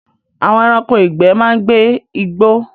Àwọn ẹranko ìgbẹ́ máa ń gbé igbó